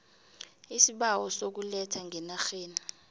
iisibawo sokuletha ngenarheni